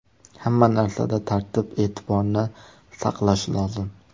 Hamma narsada tartib-e’tiborni saqlash lozim.